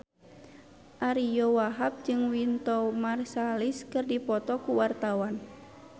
Ariyo Wahab jeung Wynton Marsalis keur dipoto ku wartawan